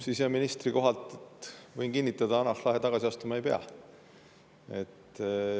Siseministri kohalt, võin kinnitada, Hanah Lahe tagasi astuma ei pea.